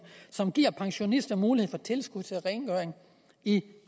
som giver pensionister mulighed for tilskud til rengøring i